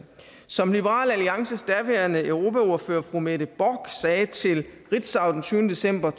som liberal alliances daværende europaordfører fru mette bock sagde til ritzau den tyvende december